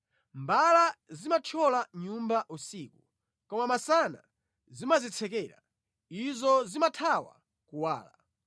Mbala zimathyola nyumba usiku, koma masana zimadzitsekera; izo zimathawa kuwala.